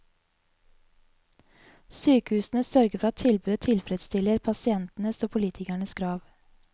Sykehusene sørger for at tilbudet tilfredsstiller pasientenes og politikernes krav.